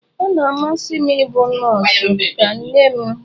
Ọ ga-amasị m ịbụ nọọsụ ka nne m.